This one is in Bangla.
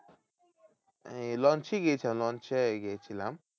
আহ লঞ্চেই গিয়েছিলাম লঞ্চেই গিয়েছিলম।